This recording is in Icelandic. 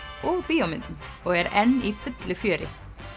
og bíómyndum og er enn í fullu fjöri